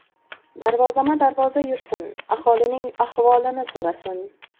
Darvozama-darvoza yursin, aholining ahvolini so‘rasin.